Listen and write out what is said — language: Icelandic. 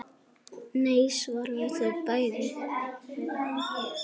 Nei svara þau bæði.